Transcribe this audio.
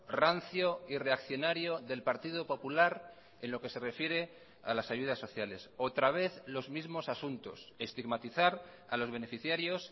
rancio y reaccionario del partido popular en lo que se refiere a las ayudas sociales otra vez los mismos asuntos estigmatizar a los beneficiarios